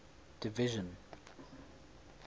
division